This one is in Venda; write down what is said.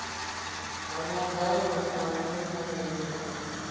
ha madalo a vhuingameli ho